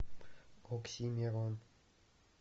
оксимирон